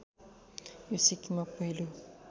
यो सिक्किममा पहिलो